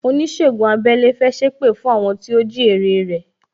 Onisegun abẹ́lẹ́ fẹ́ sépè fún àwọn tó jí ère rẹ